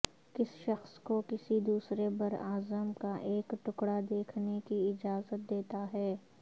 کسی شخص کو کسی دوسرے براعظم کا ایک ٹکڑا دیکھنے کی اجازت دیتا ہے